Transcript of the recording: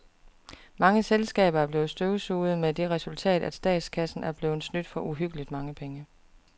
Mange selskaber er blevet støvsuget med det resultat, at statskassen er blevet snydt for uhyggeligt mange penge.